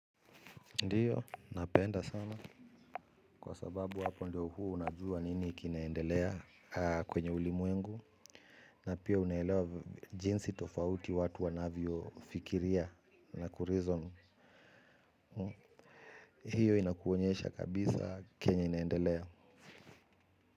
Ndiyo, napenda sana kwa sababu hapo ndio huwa unajua nini kinaendelea kwenye ulimwengu na pia unelewa jinsi tofauti watu wanavyofikiria na kureason hiyo inakuonyesha kabisa kenya inaendelea.